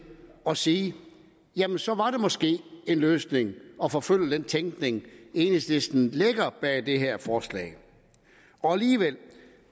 at sige jamen så var det måske en løsning at forfølge den tænkning enhedslisten lægger bag det her forslag og alligevel